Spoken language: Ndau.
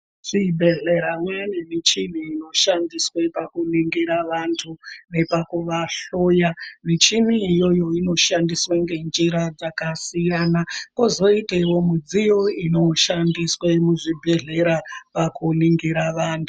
Kuzvibhedhlera kwaane michini inoshandiswa pakuningira vantu nekupavahloya michini iyoyo inoshandiswa ngenzira dzakasiyana kozoitawo midziyo inoshandiswa muzvibhedhlera pakuningira vantu .